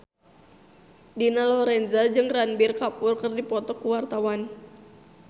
Dina Lorenza jeung Ranbir Kapoor keur dipoto ku wartawan